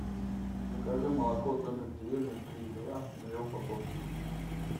закажи молоко домик в деревне три и два две упаковки